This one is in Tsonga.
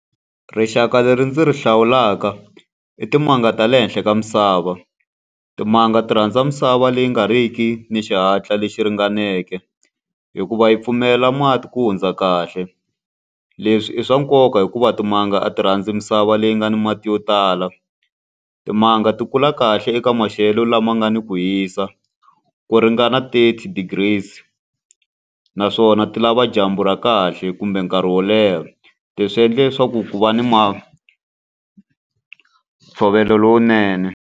Rixaka leri ndzi ri hlawulaka i timanga ta le henhla ka misava. Timanga ti rhandza misava leyi nga ri ki ni xihatla lexi ringaneke, hikuva yi pfumela mati ku hundza kahle. Leswi i swa nkoka hikuva timanga a ti rhandzi misava leyi nga ni mati yo tala. Timanga ti kula kahle eka maxelo lama nga ni ku hisa ku ringana thirty degrees. Naswona ti lava dyambu ra kahle kumbe nkarhi wo leha leswi swi endla leswaku ku va ni ntshovelo lowunene.